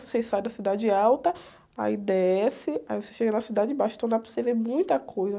Você sai da cidade alta, aí desce, aí você chega na cidade baixa, então dá para você ver muita coisa.